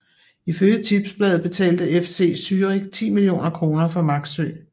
Ifølge Tipsbladet betalte FC Zürich ti millioner kroner for Maxsø